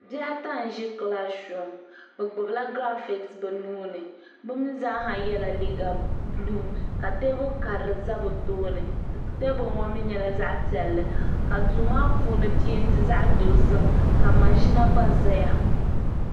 Bihi ata n ʒi kilaasi puuni bɛ gbibila giraafiti bɛ nuuni bɛ mee zaa ha yela liiga buluu ka teebuli karili za bɛ sunsuuni teebuli ŋɔ nyɛla zaɣa piɛlli ka duu maa puuni penti zaɣa dozim ka maʒina gba zaya.